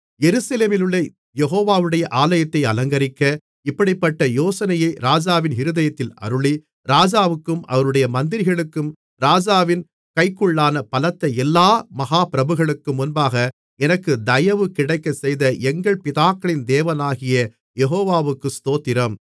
எருசலேமிலுள்ள யெகோவாவுடைய ஆலயத்தை அலங்கரிக்க இப்படிப்பட்ட யோசனையை ராஜாவின் இருதயத்தில் அருளி ராஜாவுக்கும் அவருடைய மந்திரிகளுக்கும் ராஜாவின் கைக்குள்ளான பலத்த எல்லா மகாப்பிரபுக்களுக்கும் முன்பாக எனக்கு தயவு கிடைக்கச் செய்த எங்கள் பிதாக்களின் தேவனாகிய யெகோவாவுக்கு ஸ்தோத்திரம்